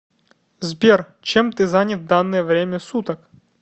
сбер чем ты занят в данное время суток